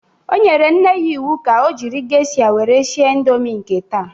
O nyere nne ya iwu ka o jiri gesha were sie ịndomi nke taa!